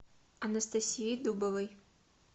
анастасии дубовой